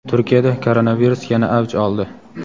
Turkiyada koronavirus yana avj oldi.